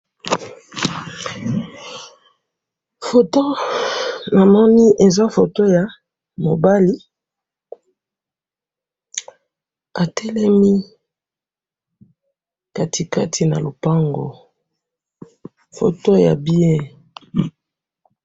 Photo namoni eza photo ya mobali atelemi kati kati na lopango ,photo ya bien